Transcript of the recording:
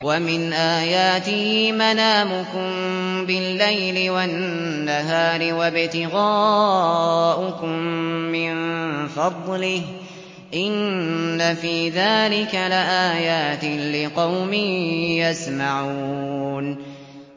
وَمِنْ آيَاتِهِ مَنَامُكُم بِاللَّيْلِ وَالنَّهَارِ وَابْتِغَاؤُكُم مِّن فَضْلِهِ ۚ إِنَّ فِي ذَٰلِكَ لَآيَاتٍ لِّقَوْمٍ يَسْمَعُونَ